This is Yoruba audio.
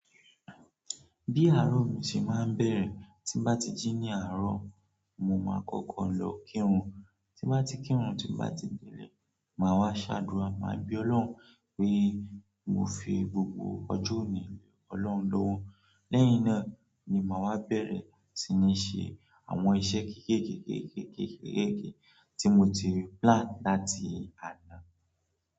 Bí àárọ̀ mi ṣe máa ń bẹ̀rẹ̀, tí n bá ti jí ní àárọ̀, mo máa kọ́kọ́ lọ kírun, tí bá ti kírun, tí bá ti délé, màá wá ṣàdúrà, màá be Ọlọ́run pé mo fi gbogbo ọjọ́ òní le Ọlọ́run lọ́wọ́. Lẹ́yìn náà ni màá wá bẹ̀rẹ̀ si ní ṣe àwọn iṣẹ́ kékèké, kékèké, kékèké tí mo ti n plànu láti àná.